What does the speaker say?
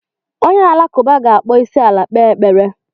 Onye Alakụba ga-akpọ isiala kpee ekpere.